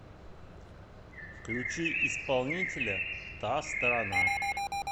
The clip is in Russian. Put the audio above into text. включи исполнителя та сторона